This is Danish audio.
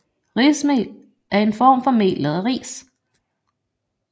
Rismel er en form for mel lavet af ris